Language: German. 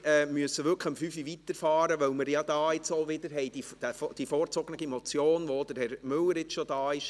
Wir müssen wirklich um 17 Uhr weiterfahren, weil wir dann wiederum eine vorgezogene Motion haben werden, für die auch Herr Müller nun schon da ist.